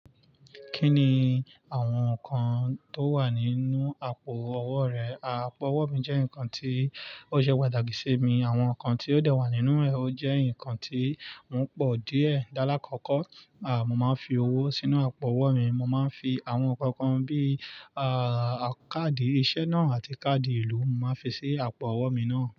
Kí ni àwọn nǹkan tó wà nínú àpò-ọwọ́ rẹ? Àpò-ọwọ́ mi jẹ́ nǹkan tí ó ṣe pàtàkì sí mi. Àwọn nǹkan tí ó dẹ́wà nínú rẹ̀ ó jẹ́ nǹkan tí wọ́n pọ̀ díẹ̀. Lálákọ̀ọ̀kọ́, mo máa ń fi owó sínú àpò-ọwọ́ mi. Mo máa ń fi àwọn nnkan kan bíi, káàdì iṣẹ́ náà àti káàdì ìlú mo máa ń fi sí àpò-ọwọ́ mi náà.